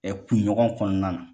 kunɲɔgɔn kɔnɔna na.